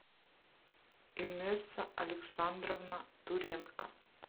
инесса александровна туренко